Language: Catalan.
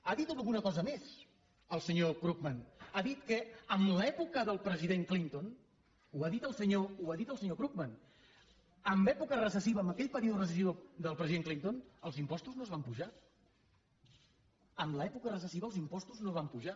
ha dit alguna cosa més el senyor krugman ha dit que en l’època del president clinton ho ha dit el senyor krugman en època recessiva en aquell període recessiu del president clinton els impostos no es van apujar en l’època recessiva els impostos no es van apujar